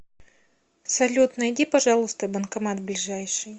салют найди пожалуйста банкомат ближайший